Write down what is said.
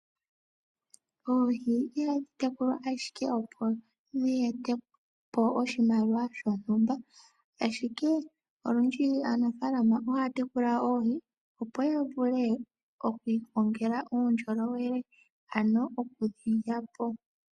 Oohi ihadhi tekulwa ashike opo dhi etepo oshimaliwa shontumba, ashike olundji aanafalama ohaya tekula oohi opo ya vule oku ikongela uundjolowele, ano okudhi lya po.